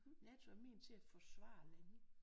NATO er ment til at forsvare lande